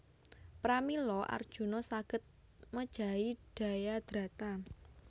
Pramila Arjuna saged mejahi Jayadrata